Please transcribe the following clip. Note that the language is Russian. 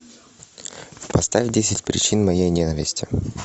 поставь десять причин моей ненависти